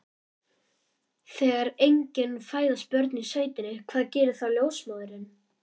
Þegar engin fæðast börnin í sveitinni, hvað gerir þá ljósmóðirin?